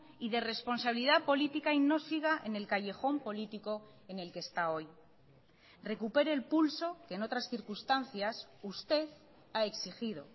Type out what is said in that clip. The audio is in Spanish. y de responsabilidad política y no siga en el callejón político en el que está hoy recupere el pulso que en otras circunstancias usted ha exigido